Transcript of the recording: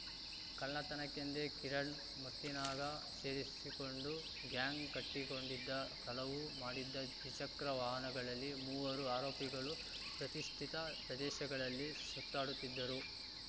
ಕಳ್ಳತನಕ್ಕೆಂದೇ ಕಿರಣ್‌ ಮತ್ತಿನಾಗ ಸೇರಿಸಿಕೊಂಡು ಗ್ಯಾಂಗ್‌ ಕಟ್ಟಿಕೊಂಡಿದ್ದ ಕಳವು ಮಾಡಿದ್ದ ದ್ವಿಚಕ್ರ ವಾಹನಗಳಲ್ಲಿ ಮೂವರು ಆರೋಪಿಗಳು ಪ್ರತಿಷ್ಠಿತ ಪ್ರದೇಶಗಳಲ್ಲಿ ಸುತ್ತಾಡುತ್ತಿದ್ದರು